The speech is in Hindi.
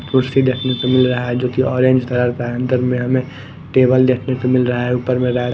कुर्सी देखने को मिल रहा है जो कि ऑरेंज कलर का है अंदर में हमें टेबल देखने को मिल रहा है ऊपर में--